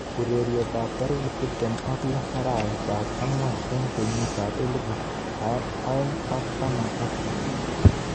Urerenet ab tarik tip tem ak lo arawet ab angwan eng kenyit ab elipu aeng ak taman ak sisit.